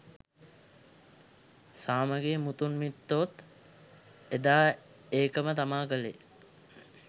සාමගෙ මුතුන් මිත්තොත් එදා ඒකම තමා කලේ